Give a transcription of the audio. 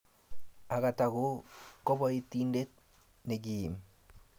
Agatha ko kabotindet nekiim